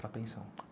Para a pensão?